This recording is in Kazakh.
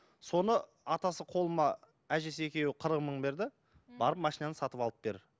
соны атасы қолыма әжесі екеуі қырық мың берді барып машинаны сатып алып бер